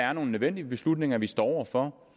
er nogle nødvendige beslutninger vi står over for